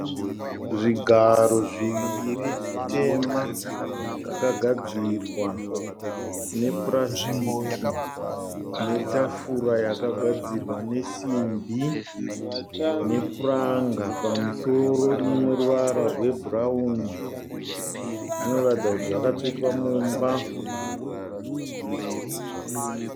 Zvigaro zviviri zvitema zvakagadzirwa nepurasitiki netafura yakagadzirwa nesimbi nepuranga pamusoro ine ruvara rwebhurauni. Zvinoratidza kuti zvakatsvetwa mumba.